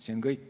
See on kõik.